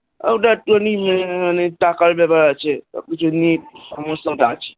ওইটা একটু খানি টাকার ব্যাপার তো আছে সব কিছু নিয়ে সমস্যা তো আছেই,